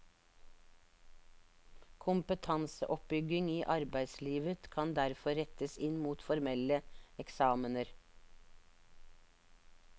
Kompetanseoppbygging i arbeidslivet kan derfor rettes inn mot formelle eksamener.